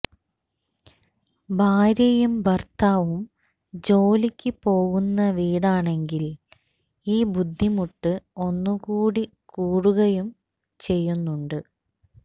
ഭാര്യയും ഭര്ത്താവും ജോലിക്ക് പോകുന്ന വീടാണെങ്കില് ഈ ബുദ്ധിമുട്ട് ഒന്നുകൂടി കൂടുകയും ചെയ്യുന്നുണ്ട്